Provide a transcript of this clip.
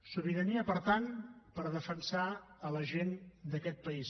sobirania per tant per defensar la gent d’aquest país